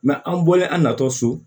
an bɔlen an na tɔ so